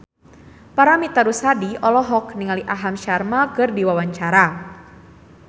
Paramitha Rusady olohok ningali Aham Sharma keur diwawancara